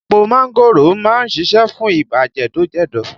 Epo mángòrò má ń ṣiṣẹ́ fún ibà jẹ̀dọ̀ jẹ̀dọ̀